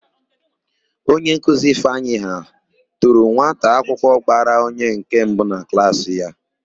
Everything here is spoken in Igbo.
Onyenkuzi Ifeanyị ha toro nwataakwụkwọ gbara onye nke mbụ na klaasị ya.